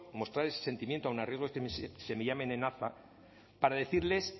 mostrar ese sentimiento aun a riesgo de que se me llame nenaza para decirles